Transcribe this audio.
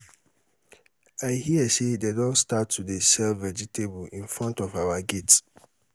i hear say dey don start to dey sell vegetable in front of our gate